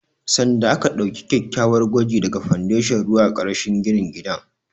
Sanda aka ɗauki kyakkyawar gwaji daga fandashon ruwa karashin ginin gidan